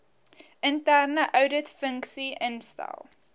interne ouditfunksie instel